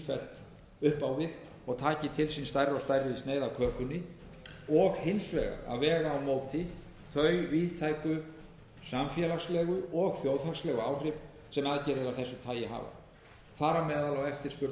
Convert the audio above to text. sífellt upp á við og taki til sín stærri og stærri sneið af kökunni og hins vegar að vega á móti þau víðtæku samfélagslegu og þjóðhagslegu áhrif sem aðgerðir af þessu tagi hafa þar á meðal er eftirspurnarstigið